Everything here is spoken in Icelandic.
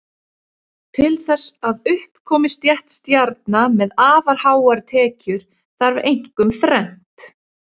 Til þess að upp komi stétt stjarna með afar háar tekjur þarf einkum þrennt.